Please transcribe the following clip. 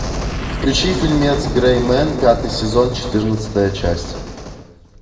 включи фильмец грэй мен пятый сезон четырнадцатая часть